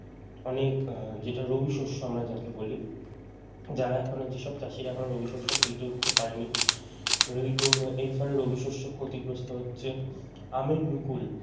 অনেক যেটা রবি শস্য আমরা যাকে বলি যাঁরা এখনও যে সব চাষিরা এখনও রবি শস্য কেটে উঠতে পারেনি উহ এর ফলে রবিশস্য ক্ষতিগ্রস্ত হচ্ছে আমের মুকুল